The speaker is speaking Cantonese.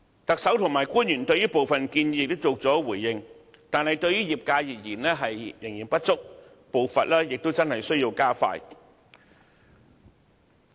特首和官員對部分建議亦曾作出回應，但對業界而言，仍然不足，步伐需要加快。